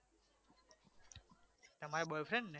તમારે boyfriend છે?